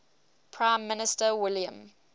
prime minister william